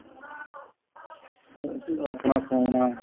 ਸੋ ਆਪਣਾ ਸੋਣਾ